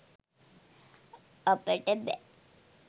අපට බෑ